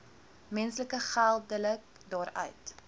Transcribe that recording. mense geldelik daaruit